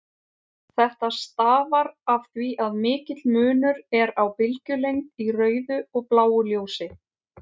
Þetta stafar af því að mikill munur er á bylgjulengd í rauðu og bláu ljósi.